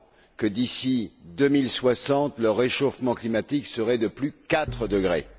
que, d'ici 2060, le réchauffement climatique serait de plus quatre degrés.